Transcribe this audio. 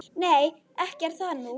Nei, ekki er það nú.